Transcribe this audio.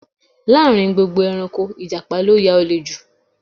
Láàrin gbogbo ẹranko, ìjàpá ló ya òle ju